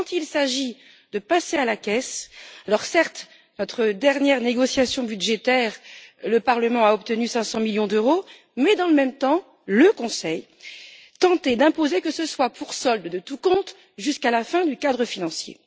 Mais quand il s'agit de passer à la caisse Alors, certes, lors de notre dernière négociation budgétaire, le Parlement a obtenu 500 millions d'euros mais, dans le même temps, le Conseil tentait d'imposer que ce soit pour solde de tout compte jusqu'à la fin du cadre financier.